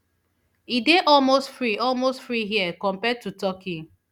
e dey almost free almost free here compared to turkey